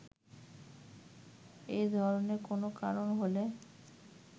এ ধরনের কোনো কারণ হলে